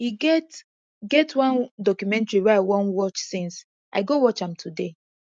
e get get one documentary wey i wan watch since i go watch am today